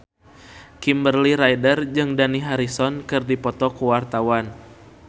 Kimberly Ryder jeung Dani Harrison keur dipoto ku wartawan